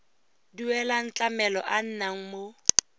duelang tlamelo a nnang mo